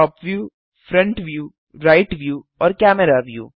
top view front view right view और camera view